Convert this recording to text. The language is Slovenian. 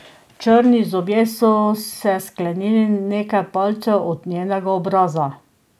Črni zobje so se sklenili nekaj palcev od njenega obraza.